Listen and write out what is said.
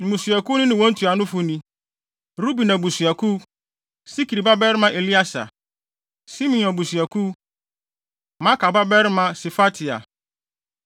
Mmusuakuw no ne wɔn ntuanofo ni: Ruben abusuakuw: Sikri babarima Elieser; Simeon abusuakuw: Maaka babarima Sefatia;